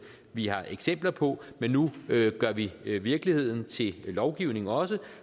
vi har eksempler på men nu gør vi virkeligheden til lovgivning også